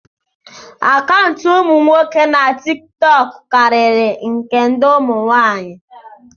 akaụntụ umu nwoke na tikitoku kariri nke ndi umu nwaanyi